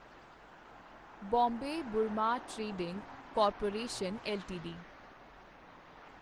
Bombay Burma trading corporation LTD